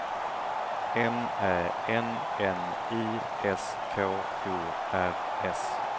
M Ä N N I S K O R S